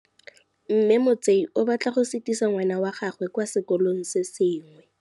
Mme Motsei o batla go sutisa ngwana wa gagwe kwa sekolong se sengwe.